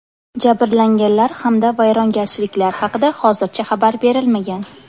Jabrlanganlar hamda vayrongarchiliklar haqida hozircha xabar berilmagan.